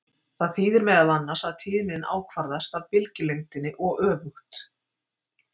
Það þýðir meðal annars að tíðnin ákvarðast af bylgjulengdinni og öfugt.